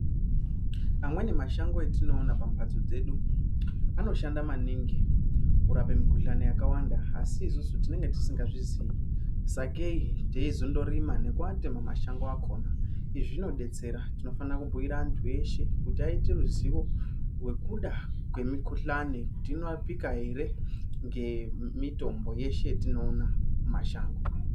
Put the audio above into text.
Amweni mashango atinoona pamhbatso dzedu anoshana maningi kurape mikhuhlani yakawanda asi isusu tinenge tisingazvizii sakei tezondorima nekuake mumashango akona izvi zvinodetsera tinofanira kubhuira antu eshe kuti aite ruzivo wekuda kwemikhuhlani kuti inorapika ere ngemitombo yeshe yatinoona mumashango.